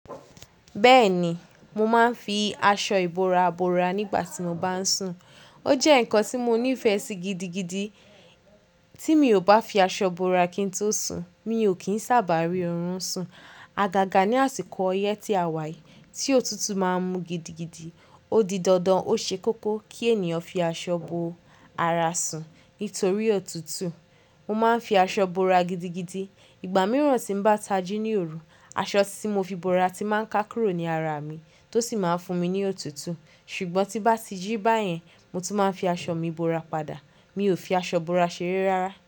Bẹ́ẹ̀ni, mo máa ń fi aṣọ ìbora bora nígbà tí mo bá ń sùn. Ó jẹ́ ǹkan tí mo nífẹ̀ẹ́ sí gidigidi. Tí mi ò bá fi aṣọ bora kí n tó sùn, mi ò kí ń sábà rí orun sùn. Àgàgà ní àsìkò ọyẹ́ tí a wà yìí, tí òtútù máa ń mú gidigidi, ó di dandan ó ṣe kókó kí ènìyàn fi aṣọ bo ara sùn. Nítorí òtútù, mo máa ń fi aṣọ ìbora gidigidi. Ìgbà mìíràn tí ń bá tají ní òru, aṣọ tí mo fi bora tí máa ń ká kúrò ní ara mi tó sì máa ń fún mi ní òtútù. Ṣùgbọ́n tí bá ti jí báyẹn, mo tún máa ń fi aṣọ mi bora padà. Mi ò fi aṣọ ìbora ṣeré rárá.